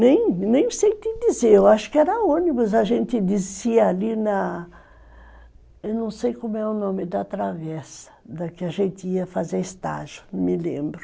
Nem, nem sei te dizer, eu acho que era ônibus, a gente descia ali na... Eu não sei como é o nome da travessa , da que a gente ia fazer estágio, não me lembro.